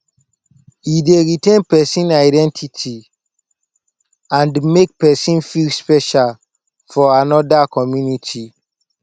e dey retain pesin identity and make pesin feel special for anoda community